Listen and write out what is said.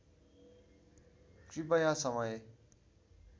कृपया समय